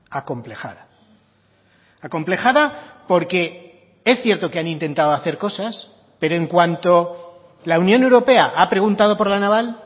acomplejada acomplejada porque es cierto que han intentado hacer cosas pero en cuanto la unión europea ha preguntado por la naval